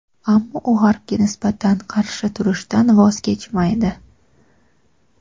ammo u G‘arbga nisbatan qarshi turishdan voz kechmaydi.